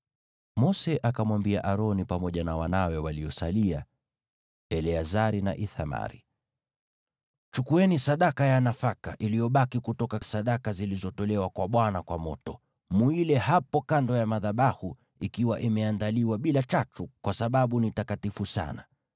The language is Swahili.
Mose akamwambia Aroni pamoja na wanawe waliosalia, Eleazari na Ithamari, “Chukueni sadaka ya nafaka iliyobaki kutoka sadaka zilizotolewa kwa Bwana kwa moto, muile hapo kando ya madhabahu ikiwa imeandaliwa bila chachu, kwa sababu ni takatifu sana.